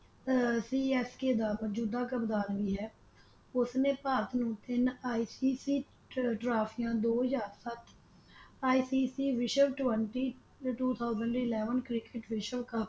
ਆ CSK ਦਾ ਮੌਜੂਦਾ ਕਪਤਾਨ ਵੀ ਹੈ ਉਸ ਨੇ ਭਾਰਤ ਨੂੰ ਤਿੰਨ ICC ਟ੍ਰੋਫਿਆਂ ਦੋ ਹਜ਼ਾਰ ਸੱਤ ICC ਵਿਸ਼ਵ ਟ੍ਵੇੰਟੀ ਟੂ ਠੌਸਨਡ ਇਲੈਵਨ ਵਿਸ਼ਵ ਕੱਪ।